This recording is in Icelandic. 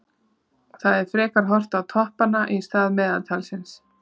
Það er frekar horft á toppanna í stað meðaltalsins.